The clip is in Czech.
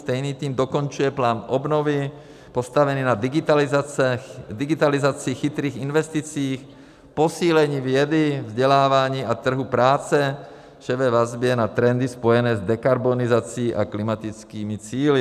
Stejný tým dokončuje plán obnovy postavený na digitalizaci, chytrých investicích, posílení vědy, vzdělávání a trhu práce, vše ve vazbě na trendy spojené s dekarbonizací a klimatickými cíli.